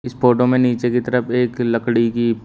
इस फोटो में नीचे की तरफ एक लकड़ी की--